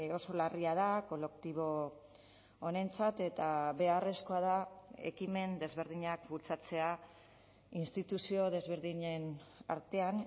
oso larria da kolektibo honentzat eta beharrezkoa da ekimen desberdinak bultzatzea instituzio desberdinen artean